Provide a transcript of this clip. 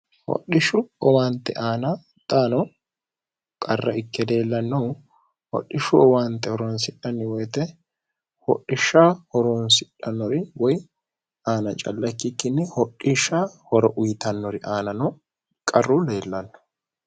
hodhishshu owaante aana xaano qarra ikke deellannohu hodhishshu owaante horoonsidhanni woyite hodhishsha horoonsidhannori woy aana calla kkikkinni hodhishsha hora uyitannori aanano qarru leellanno